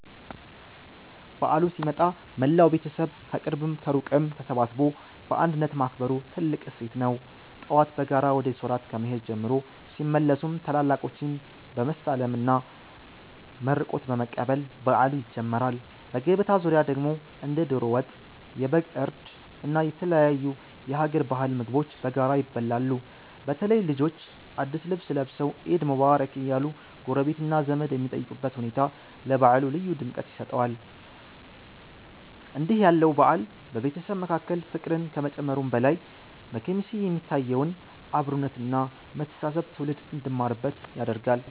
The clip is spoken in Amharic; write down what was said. በዓሉ ሲመጣ መላው ቤተሰብ ከቅርብም ከሩቅም ተሰባስቦ በአንድነት ማክበሩ ትልቁ እሴት ነው። ጠዋት በጋራ ወደ ሶላት ከመሄድ ጀምሮ፣ ሲመለሱም ታላላቆችን በመሳለምና መርቆት በመቀበል በዓሉ ይጀምራል። በገበታ ዙሪያ ደግሞ እንደ ዶሮ ወጥ፣ የበግ እርድ እና የተለያዩ የሀገር ባህል ምግቦች በጋራ ይበላሉ። በተለይ ልጆች አዳዲስ ልብስ ለብሰው "ዒድ ሙባረክ" እያሉ ጎረቤትና ዘመድ የሚጠይቁበት ሁኔታ ለበዓሉ ልዩ ድምቀት ይሰጠዋል። እንዲህ ያለው በዓል በቤተሰብ መካከል ፍቅርን ከመጨመሩም በላይ፣ በኬሚሴ የሚታየውን አብሮነት እና መተሳሰብ ትውልድ እንዲማርበት ያደርጋል።